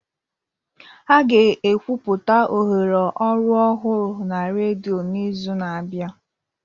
A ga-ekwupụta ohere ọrụ ọhụrụ na redio n'izu na-abịa